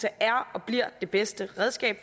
er og bliver det bedste redskab